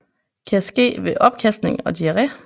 Kan ske ved opkasting og diare